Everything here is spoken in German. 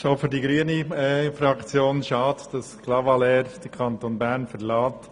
Auch die grüne Fraktion findet es schade, dass Clavaleyres den Kanton Bern verlässt.